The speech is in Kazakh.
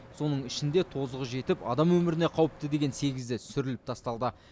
соның ішінде тозығы жетіп адам өміріне қауіпті деген сегізі сүріліп тасталды